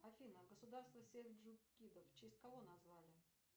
афина государство сельджукидов в честь кого назвали